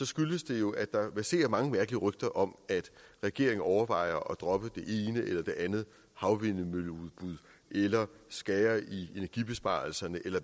skyldes det jo at der verserer mange mærkelige rygter om at regeringen overvejer at droppe det ene eller det andet havvindmølleudbud eller skære i energibesparelserne eller